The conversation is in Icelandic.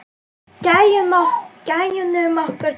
Gæjunum okkar tveim.